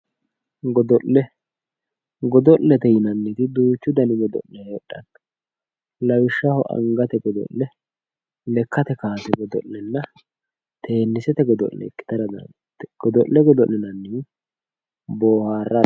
Godo'le godo'lete yinanniti duuchu dani godo'le heedhara dandiitanno lawishshaho angate godo'le lekkate kaase godo'lenna teennisete godo'le ikkara dandaanno godo'le godo'linannihu boaharrara